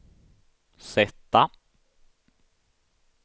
sätta